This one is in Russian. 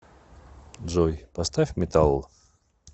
джой поставь металл